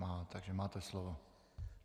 Má, takže máte slovo.